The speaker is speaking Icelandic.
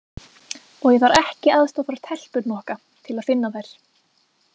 Og ég þarf ekki aðstoð frá telpuhnokka til að finna þær.